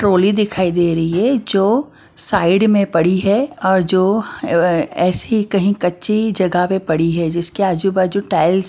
trolley दिखाई दे रही है जो साइड में पड़ी है और जो अ ऐसी ही कहीं कच्ची जगह पे पड़ी है जिसके आजू बाजू टाइल्स --